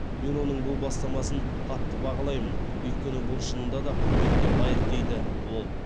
мен оның бұл бастамасын қатты бағалаймын өйткені бұл шынында да құрметке лайық дейді ол